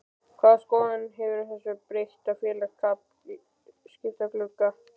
Hvaða skoðun hefurðu á þessum breytta félagaskiptaglugga?